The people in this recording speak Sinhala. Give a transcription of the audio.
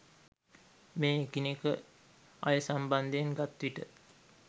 මේ එකිනෙක අය සම්බන්ධයෙන් ගත්විට